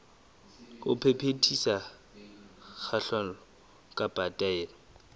ho phethisa kahlolo kapa taelo